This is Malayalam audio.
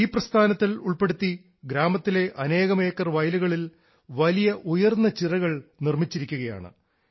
ഈ പ്രസ്ഥാനത്തിൽ ഉൾപ്പെടുത്തി ഗ്രാമത്തിലെ അനേകം ഏക്കർ വയലുകളിൽ വലിയ ഉയർന്ന ചിറകൾ നിർമ്മിച്ചിരിക്കുകയാണ്